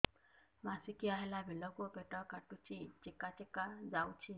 ମାସିକିଆ ହେଲା ବେଳକୁ ପେଟ କାଟୁଚି ଚେକା ଚେକା ଯାଉଚି